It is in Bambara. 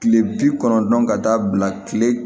Kile bi kɔnɔntɔn ka taa bila kile